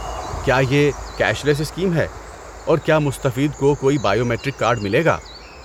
کیا یہ cashless scheme ہے، اور کیا مستفید کو کوئی بائیو میٹرک کارڈ ملے گا؟